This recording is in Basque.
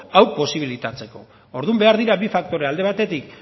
hau posibilitatzeko orduan behar dira bi faktore alde batetik